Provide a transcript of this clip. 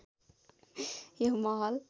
यो महल